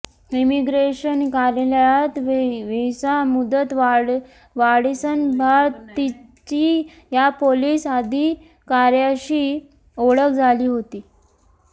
immigration कार्यालयात visa मुदतवाढीसंदर्भात तिची या पोलीस अधिकाऱ्याशी ओळख झाली होती